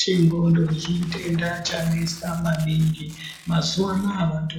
Chengxondo chitenda chanetsa maningi, mazuvaanaya vantu